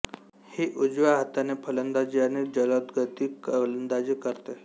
ही उजव्या हाताने फलंदाजी आणि जलदगती गोलंदाजी करते